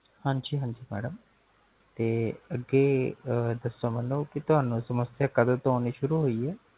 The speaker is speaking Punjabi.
ਹਾਂਜੀ ਹਾਂਜੀ Madam ਤੇ ਅੱਗੇ ਦੱਸੋ ਮੈਨੂ ਕੀ ਤੁਹਾਨੂ ਸਮਸਿਆ ਕਦੋ ਤੋ ਹੋਣੀ ਸ਼ੁਰੂ ਹੋਈ ਹੈ